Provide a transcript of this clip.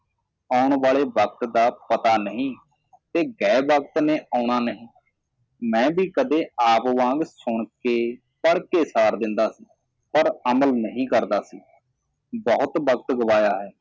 ਆਉਣ ਵਾਲੇ ਵਕ਼ਤ ਦਾ ਪਤਾ ਨਹੀ ਤੇ ਗਏ ਵਕਤ ਨੇ ਆਉਣਾ ਨਹੀ ਮੈ ਵੀ ਕਦੇ ਆਪ ਵਾਂਗ ਸੁਣ ਕੇ ਪੜ੍ਹ ਕੇ ਸਾਰ ਦਿੰਦਾ ਸੀ ਪਰ ਅਮਲ ਨਹੀ ਕਰਦਾ ਸੀ ਬਹੁਤ ਵਕਤ ਗੁਵਾਇਆ ਹੈ